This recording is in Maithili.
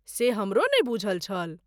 से हमरो नहि बूझल छल।